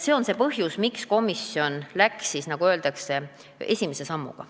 See on see põhjus, miks komisjon läks, nagu öeldakse, edasi ainult esimese sammuga.